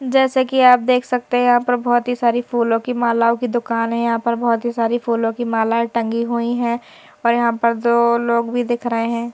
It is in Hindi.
जैसे कि आप देख सकते हैं यहां पर बहुत ही सारी फूलों की मालाओं की दुकान है यहां पर बहुत ही सारी फूलों की मालाएं टंगी हुई हैं और यहां पर दो लोग भी दिख रहे हैं।